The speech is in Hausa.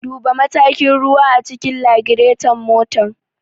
Duba matakin ruwa a cikin lagiraton motar.